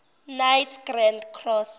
knights grand cross